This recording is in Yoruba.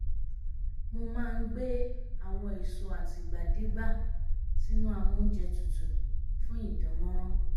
mo má ń gbé àwọn èso àtìgbàdégbà sínú amóúnjẹ tutù fún ìdánmọ́rán